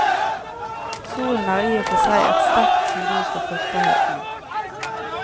Solen er i og for seg et sterkt symbol på fruktbarheten.